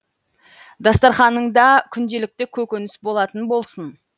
дастарқаныңда күнделікті көкөніс болатын болсын